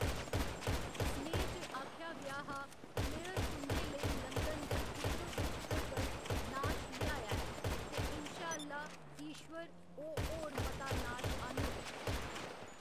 सनेहे च आखेआ गेआ हा ब्लेयर तुं'दे लेई लंदन दे बिच्चो बिच्च तक्कर नाश लेआया ऐ, ते इंशा अल्ला ईश्वर, ओह्‌‌ होर मता नाश आह्न्नग।